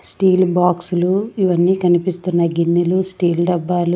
Steel బాక్సులు ఇవన్నీ కనిపిస్తున్నాయి గిన్నెలు స్టీల్ డబ్బాలు.